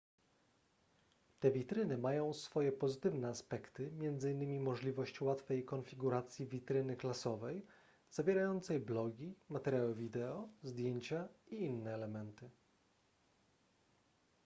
te witryny mają swoje pozytywne aspekty m.in możliwość łatwej konfiguracji witryny klasowej zawierającej blogi materiały wideo zdjęcia i inne elementy